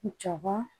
Jaba